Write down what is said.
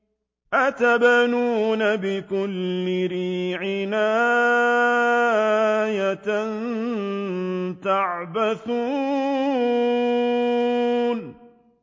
أَتَبْنُونَ بِكُلِّ رِيعٍ آيَةً تَعْبَثُونَ